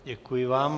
Děkuji vám.